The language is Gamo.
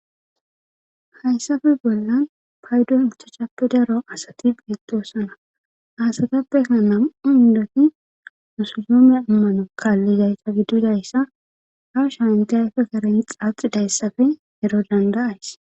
hayssafe bollan paydo uchachappe daro asati beetoosana asatappeka nam7u indoti musudome ammano kaallidayssa giddidayssa ha sha inte ayfe karen xaaxi dayssafe ero danda7ays